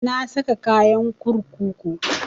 Na saka kayan kurkuku